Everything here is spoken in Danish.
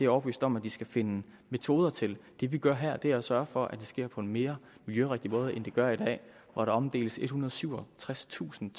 overbevist om at de skal finde metoder til det vi gør her er at sørge for at det sker på en mere miljørigtig måde end det gør i dag hvor der omdeles ethundrede og syvogtredstusind